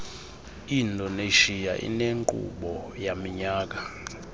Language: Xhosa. indonesia inenkqubo yaminyaka